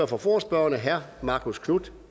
for forespørgerne herre marcus knuth